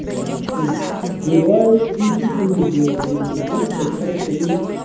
комплексы бывают и диффузное демиелинизация как при